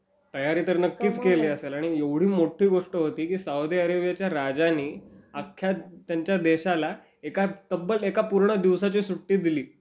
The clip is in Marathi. तयारी तर नक्कीच केली असेल. आणि एवढी मोठी गोष्ट होती की, सौदी अरेबियाच्या राजानी, अख्ख्या त्यांच्या देशाला एका तब्बल एका पूर्ण दिवसाची सुट्टी दिली.